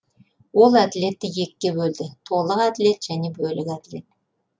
ол әділетті екіге бөлді толық әділет және бөлік әділет